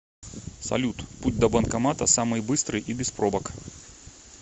салют путь до банкомата самый быстрый и без пробок